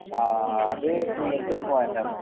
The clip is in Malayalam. ആഹ് അത് മികച്ചൊരു പോയിന്റ് ആണ്